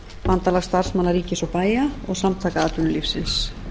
bandalags starfsmanna ríkis og bæja og samtaka atvinnulífsins